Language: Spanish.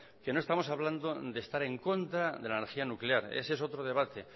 que no estamos hablando de estar en contra de la energía nuclear ese es otro debate